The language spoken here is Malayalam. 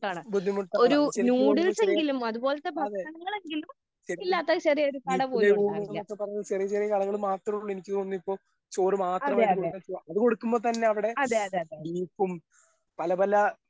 ബുദ്ധിമുട്ടാണ് അത് തോന്നുണു ചെറിയ അതെ വീട്ടിലെ ഊണ്ന്നൊക്കെ പറഞ്ഞ് ചെറിയ ചെറിയ കടകള് മാത്രുള്ളു എനിക്ക് തോന്നുന്നു ഇപ്പൊ ചോറ് മാത്രമായിട്ട് അത് കൊടുക്കുമ്പൊ തന്നവിടെ ബീഫും പലപല.